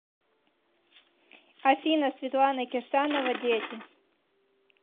афина светлана кирсанова дети